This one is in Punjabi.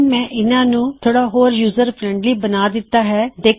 ਹੁਣ ਮੈਂ ਇਨ੍ਹਾਂ ਨੂੰ ਥੋੜਾ ਹੋਰ ਯੂਜ਼ਰ ਫ਼ਰੈੱਨਡਲਿ ਬਣਾ ਦਿੱਤਾ ਹੈ